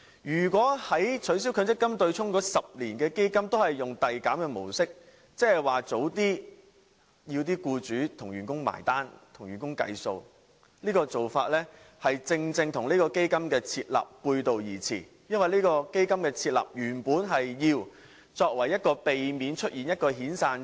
如果取消強積金對沖的10年基金也使用遞減的模式，即是要求僱主提早替員工"埋單"計數，這種做法正正與設立基金的目的背道而馳，因為設立基金的原意是作為緩衝區，避免出現遣散潮。